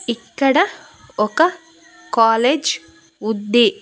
ఇక్కడ ఒక కాలేజ్ ఉంది.